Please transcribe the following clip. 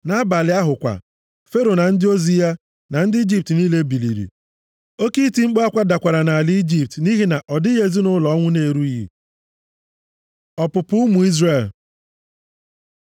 Nʼabalị ahụ kwa, Fero na ndị ozi ya, na ndị Ijipt niile biliri. Oke iti mkpu akwa dakwara nʼala Ijipt, nʼihi na ọ dịghị ezinaụlọ ọnwụ na-erughị. Ọpụpụ ụmụ Izrel